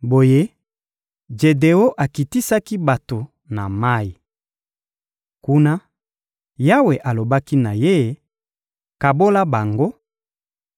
Boye, Jedeon akitisaki bato na mayi. Kuna, Yawe alobaki na ye: «Kabola bango: